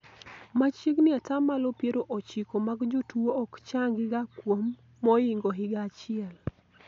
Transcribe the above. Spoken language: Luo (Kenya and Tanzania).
machiegni atamalo piero ochiko mag jotuo ok changi ga kuom moingo higa achiel